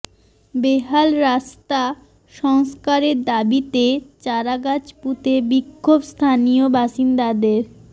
বেহাল রাস্তা সংস্কারের দাবিতে চারাগাছ পুঁতে বিক্ষোভ স্থানীয় বাসিন্দাদের